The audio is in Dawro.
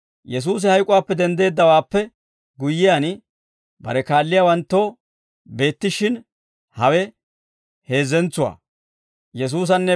Yesuusi hayk'uwaappe denddeeddawaappe guyyiyaan, bare kaalliyaawanttoo beettishshin hawe heezzentsuwaa.